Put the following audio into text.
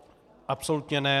Absolutně ne.